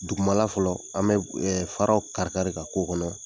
Dugumala fɔlɔ, an bɛ faraw kari kari de ka k'o kɔnɔ.